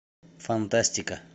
фантастика